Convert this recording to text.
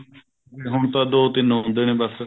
ਹੁਣ ਤਾਂ ਦੋ ਤਿੰਨ ਹੁੰਦੇ ਨੇ ਬੱਸ